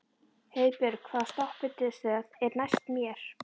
Heiðbjörg, hvaða stoppistöð er næst mér?